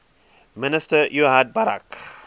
minister ehud barak